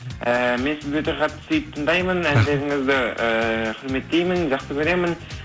ііі мен сізді өте қатты сүйіп тыңдаймын әндеріңізді ыыы құрметтеймін жақсы көремін